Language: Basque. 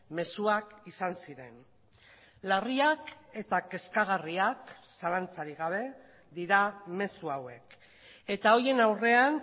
mezuak izan ziren larriak eta kezkagarriak zalantzarik gabe dira mezu hauek eta horien aurrean